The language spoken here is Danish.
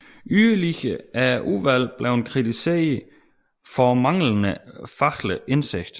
Yderligere er udvalgene blevet kritiseret for manglende faglig indsigt